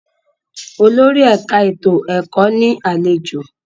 Olórí ẹ̀ka ètò ẹ̀kọ́ ní àlejò.